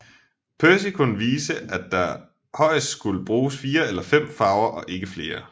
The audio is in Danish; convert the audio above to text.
Percy kunne vise at der højest skulle bruges 4 eller 5 farver og ikke flere